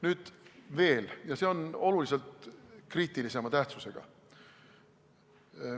Nüüd veel, ja see on kriitilisema tähtsusega.